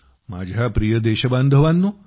माझ्या प्रिय देशबांधवांनो